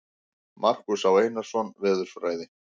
Markús Á. Einarsson, Veðurfræði.